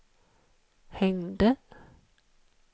hängde